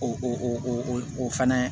O o fɛnɛ